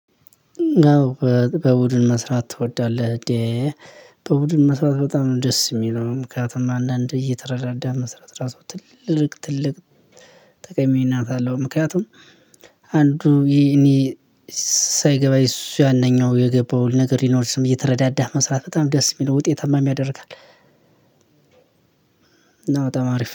አዎ በቡድን መስራት ትወዳለህ? እንዴ በቡድን መስራት በጣም ነው ደስ የሚለው። ምክንያቱም አንዳንዴ እየተረዳዳህ መስራት ራሱ ትልቅ ትልቅ ጠቃሚነት አለው። ምክንያቱም እኔ ሳይገባኝ እሱ ያነኛው የገባው ነገር ሊኖር ስለሚ እየተረዳዳህ መስራት በጣም ደስ የሚለው ውጤታማም ያደርጋል። እና በጣም አሪፍ